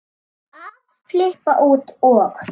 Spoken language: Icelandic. að flippa út og